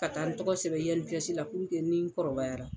Ka taa n tɔgɔ sɛbɛn INPS la puruke ni n kɔrɔbayara